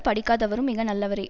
படிக்காதவரும் மிகநல்லவரே